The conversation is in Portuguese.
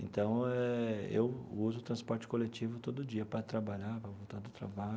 Então, eh eu uso o transporte coletivo todo dia para trabalhar, para voltar do trabalho.